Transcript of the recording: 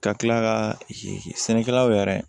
Ka tila ka sɛnɛkɛlaw yɛrɛ